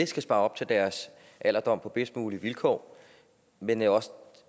skal spare op til deres alderdom på bedst mulige vilkår men også